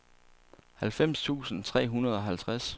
halvfems tusind tre hundrede og halvtreds